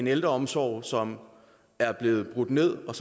ældreomsorgen som er blevet brudt ned og